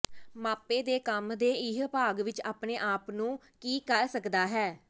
ਮਾਪੇ ਦੇ ਕੰਮ ਦੇ ਇਹ ਭਾਗ ਵਿੱਚ ਆਪਣੇ ਆਪ ਨੂੰ ਕੀ ਕਰ ਸਕਦਾ ਹੈ